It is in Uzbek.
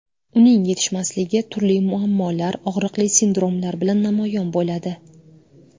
Uning yetishmasligi turli muammolar, og‘riqli sindromlar bilan namoyon bo‘ladi.